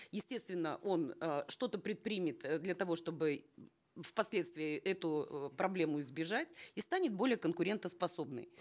естественно он э что то предпримет э для того чтобы в последствии эту э проблему избежать и станет более конкурентоспособный